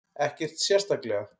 Ekkert sérstaklega.